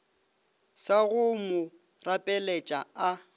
sa go mo rapeletša a